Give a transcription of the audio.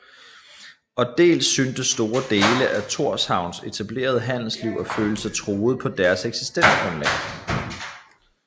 Og dels syntes store dele af Thorshavns etablerede handelsliv at føle sig truet på deres eksistensgrundlag